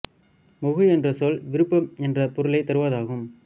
முகு என்ற சொல் விருப்பம் என்ற பொருளைத் தருவது ஆகும்